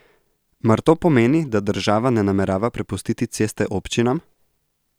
Mar to pomeni, da država ne namerava prepustiti ceste občinam?